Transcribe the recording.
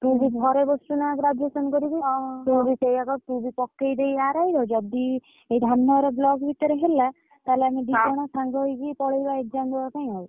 ତୁ ବି ଘରେ ବସିଚୁ ନା graduation କରିକି ତୁ ବି ସେଇଆ କର ତୁ ବି ପକେଇ ଦେ RI ର ଯଦି ଏଇ ଧାମ ନଗର block ଭିତରେ ହେଲା ତାହେଲେ ଆମେ ଦି ଜଣ ସାଙ୍ଗ ହେଇକି ପଳେଇବା exam ଡବା ପାଇଁ ଆଉ